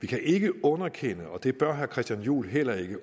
kan ikke underkende og det bør herre christian juhl heller ikke